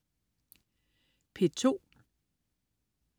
P2: